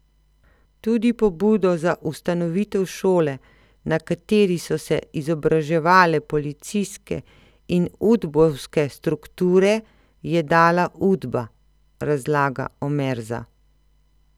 Tudi pobudo za ustanovitev šole, na kateri so se izobraževale policijske in udbovske strukture, je dala Udba, razlaga Omerza.